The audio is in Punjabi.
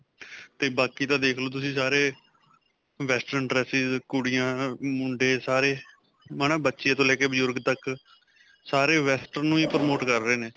'ਤੇ ਬਾਕੀ ਦਾ ਦੇਖਲੋ ਤੁਸੀਂ ਸਾਰੇ western dresses ਕੁੜੀਆਂ, ਮੁੰਡੇ ਸਾਰੇ ਬੱਚੇ ਤੋਂ ਲੈ ਕੇ ਬਜੁਰਗ ਤੱਕ, ਸਾਰੇ western ਨੂੰ ਹੀ promote ਕਰ ਰਹੇ ਨੇ.